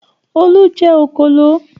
Olú jẹ òkòló?